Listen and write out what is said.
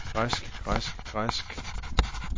græsk græsk græsk